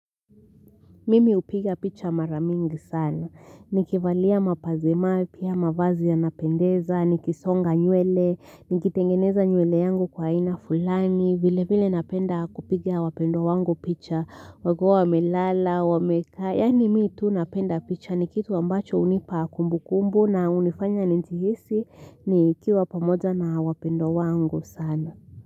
Mimi hupiga picha maramingi sana. Nikivalia mapazi mapya mavazi ya napendeza, nikisonga nywele, nikitengeneza nywele yangu kwa aina fulani, vile vile napenda kupiga wapendwa wangu picha, wakiwa wamelala, wamekaa, yani mii tu napenda picha ni kitu ambacho hunipa kumbu kumbu na hunifanya nijihisi nikiwa pamoja na wapendwa wangu sana.